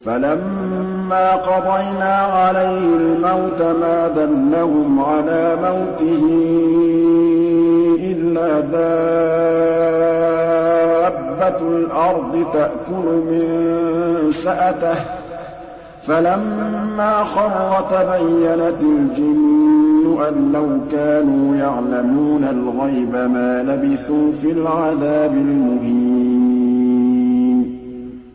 فَلَمَّا قَضَيْنَا عَلَيْهِ الْمَوْتَ مَا دَلَّهُمْ عَلَىٰ مَوْتِهِ إِلَّا دَابَّةُ الْأَرْضِ تَأْكُلُ مِنسَأَتَهُ ۖ فَلَمَّا خَرَّ تَبَيَّنَتِ الْجِنُّ أَن لَّوْ كَانُوا يَعْلَمُونَ الْغَيْبَ مَا لَبِثُوا فِي الْعَذَابِ الْمُهِينِ